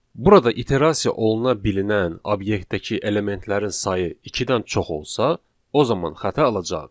Burada iterasiya oluna bilinən obyektdəki elementlərin sayı ikidən çox olsa, o zaman xəta alacağıq.